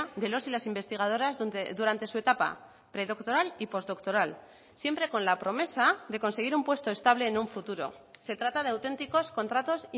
de los y las investigadoras donde durante su etapa predoctoral y postdoctoral siempre con la promesa de conseguir un puesto estable en un futuro se trata de auténticos contratos